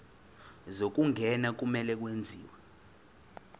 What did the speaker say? zokungena kumele kwenziwe